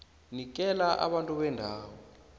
nikela abantu bendawo